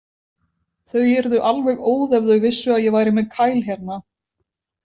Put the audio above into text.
Þau yrðu alveg óð ef þau vissu að ég væri með Kyle hérna.